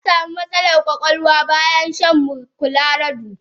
Yasamu matsalan kwakwalwa bayan shan colarado.